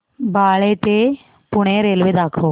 बाळे ते पुणे रेल्वे दाखव